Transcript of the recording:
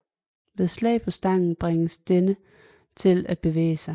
Ved slag på stangen bringes denne til at bevæge sig